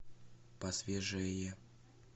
посвежее